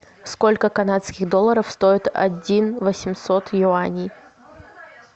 сколько канадских долларов стоит один восемьсот юаней